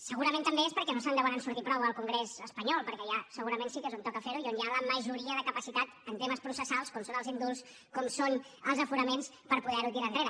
segurament també és perquè no se’n deuen sortir prou al congrés espanyol perquè allà segurament sí que és on toca fer ho i on hi ha la majoria de capacitat en temes processals com són els indults com són els aforaments per poder ho tirar enrere